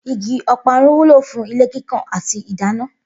Igi o̩parun wúlò fún ilé kíkàn àti ìdáná